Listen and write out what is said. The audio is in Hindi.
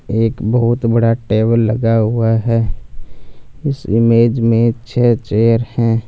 एक बहोत बड़ा टेबल लगा हुआ है इस इमेज में छ चेयर है।